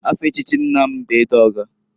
Afa echichi nna m bụ Edọga.